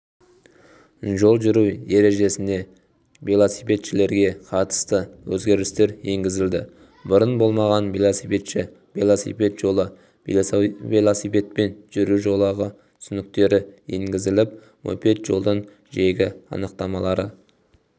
жол жүру ережесіне велосипедшілерге қатысты өзгерістер енгізілді бұрын болмаған велосипедші велосипед жолы велосипедпен жүру жолағы түсініктері енгізіліп мопед жолдың жиегі анықтамалары